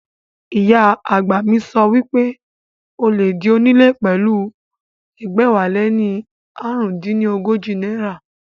Ìyá àgbà mi sọ wípé o lè di onílé pẹ̀lú ẹgbẹ̀wáléní ààrùndínní ọgọ́jọ náírà